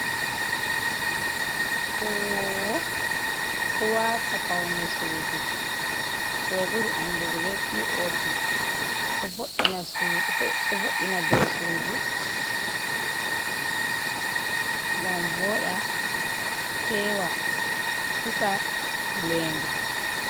Huwo'o do wata paune sudu ko be buri andugo be pop do vod’ina do sudu, gam voda fewa hisa wu'lenga.